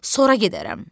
sonra gedərəm.